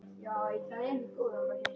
Þungar byrðar.